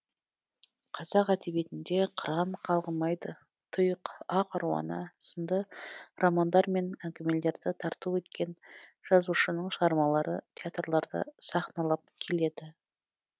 қазақ әдебиетінде қыран қалғымайды тұйық ақ аруана сынды романдар мен әңгімелерді тарту еткен жазушының шығармалары театрларда сахналанып келеді